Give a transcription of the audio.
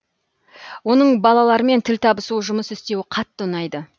оның балалармен тіл табысуы жұмыс істеуі қатты ұнайды